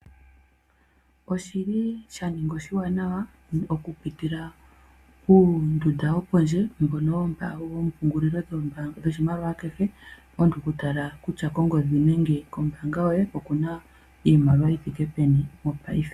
Oshili sha ninga oshiwanawa oku pitila muunduda wopondje mbono woo mpungulilo dho dhoshimaliwa kehe, omuntu kutala kutya kongodhi nenge kombaanga yoye okuna iimaliwa yithike peni mopaife.